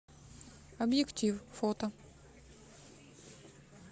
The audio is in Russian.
объектив фото